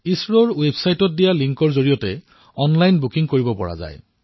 ইছৰৰ ৱেৱছাইটত দিয়া লিংকৰ জৰিয়তে অনলাইন বুকিঙো কৰিব পাৰিব